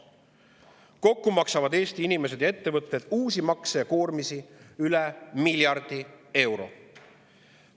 Kokku maksavad Eesti inimesed ja ettevõtted uusi makse ja koormisi üle miljardi euro.